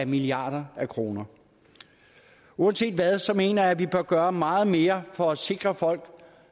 milliarder af kroner uanset hvad mener jeg vi bør gøre meget mere for at sikre folk